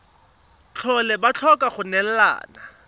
tlhole ba tlhoka go neelana